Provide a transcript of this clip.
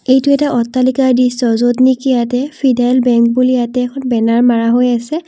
এইটো এটা অট্টালিকাৰ দৃশ্য য'তনিকি ইয়াতে ফিডাৰেল বেংক বুলি ইয়াতে এখন বেনাৰ মাৰা হৈ আছে।